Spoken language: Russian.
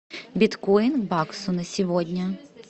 биткоин к баксу на сегодня